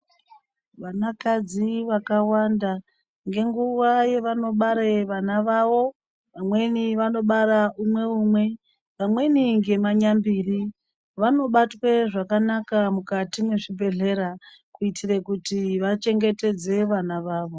Vanakadzi vakawanda ngenguwa yavanobare vana vavo vamweni vanobarwa umwe umwe vamweni ngemanyambiri vobatwe zvakanaka mukati mwezvibhehlera kuitire kuti vachengetedze vana vavo.